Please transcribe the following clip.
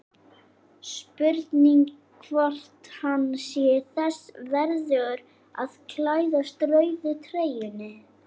Spurning hvort hann sé þess verðugur að klæðast rauðu treyjunni?